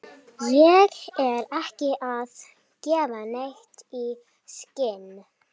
Ég er ekki að gefa neitt í skyn.